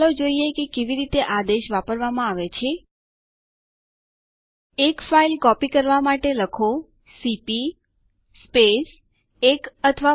ચાલો પ્રથમ શીખીએ કે નવા યુઝર કેવી રીતે બનાવવા